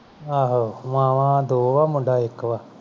ਆਹੋ ਮਾਵਾਂ ਦੋ ਆ ਮੁੰਡਾ ਇਕ ਵਾ